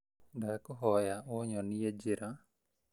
Ndakũhoya ũnyonie njĩra